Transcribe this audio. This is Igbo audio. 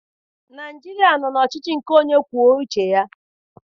Naịjirịa nọ n'ọchịchị nke onye kwuo uche ya.